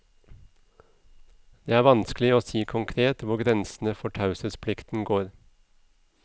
Det er vanskelig å si konkret hvor grensene for taushetsplikten går.